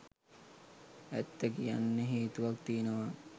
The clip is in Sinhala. ඇත්ත කියන්න හේතුවක් තියෙනවා.